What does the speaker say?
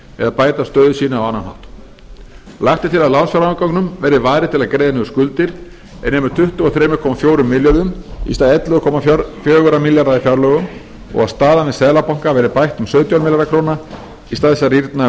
eða bæta stöðu sína á annan hátt lagt er til að lánsfjárafganginum verði varið til að greiða niður skuldir er nemi tuttugu og þrjú komma fjórum milljörðum í stað ellefu komma fjóra milljarða í fjárlögum og staðan við seðlabanka verði bætt um sautján milljarða króna í stað þess að rýrna um